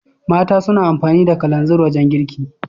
Mata suna amfani da kalanzir wajan girki